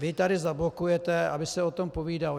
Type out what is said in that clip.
Vy tady zablokujete, aby se o tom povídalo.